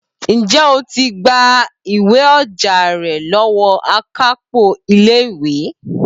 Ǹjẹ́ o ti gba ìwé-ọjà rẹ̀ lọ́wọ́ akápò ilé ìwé?